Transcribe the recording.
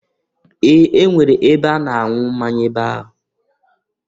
Ee! E nwere ebe a na-anwụ mmanya ebe ahụ.